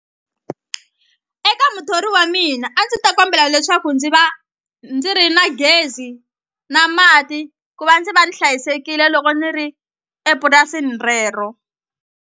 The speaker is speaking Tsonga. Eka muthori wa mina a ndzi ta kombela leswaku ndzi va ndzi ri na gezi na mati ku va ndzi va ni hlayisekile loko ni ri epurasini rero.